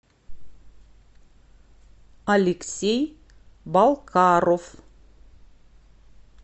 алексей балкаров